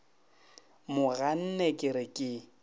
mo ganne ke re ke